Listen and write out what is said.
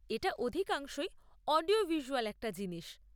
এটা অধিকাংশই audio visual একটা জিনিস।